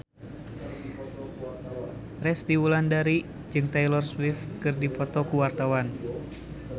Resty Wulandari jeung Taylor Swift keur dipoto ku wartawan